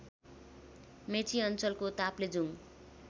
मेची अञ्चलको ताप्लेजुङ